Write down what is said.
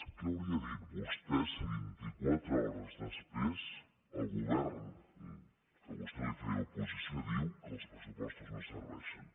què hauria dit vostè si vint i quatre hores després el govern a què vostè feia oposició diu que els pressupostos no serveixen